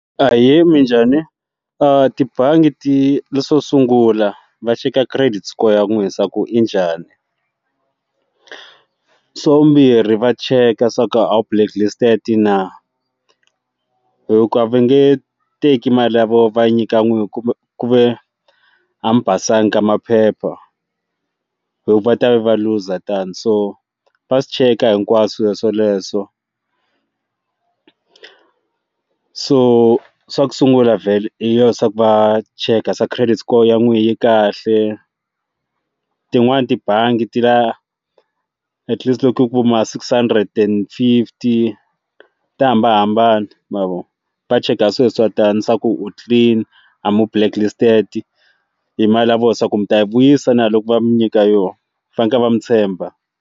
Ahee minjhani tibangi ti leswo sungula va cheka credit score ya nwina swa ku yi njhani swa vumbirhi va cheka swa ku a wu blacklisted na hikuva va nge teki mali ya vona va nyika n'wini kumbe ku ve hambi a mi basanga ka maphepha hi ku va ta va looser than so va swi cheka hinkwaswo swoleswo ku so swa ku sungula vale I yoho swa ku va cheka se credit score ya n'wina yi kahle tin'wani tibangi ti la at least loku ku ma six hundred and fifty ta hambanahambana mavoni va cheka sweswo tani swa ku mi clean a mi blacklisted hi mali ya vona swa ku mi ta yi vuyisa na loko va mi nyika yona fanekele va mi tshemba.